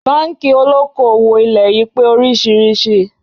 Báńkì olóko-òwò ilẹ̀ yí pé oríṣiríṣi